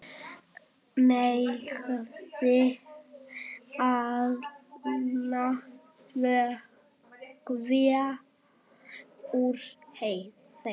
Merjið allan vökva úr þeim.